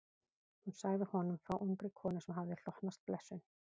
Hún sagði honum frá ungri konu sem hafði hlotnast blessun.